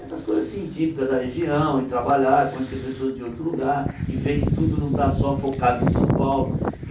Essas coisas assim típicas da região, e trabalhar, conhecer pessoas de outro lugar, e ver que tudo não está só focado em São Paulo.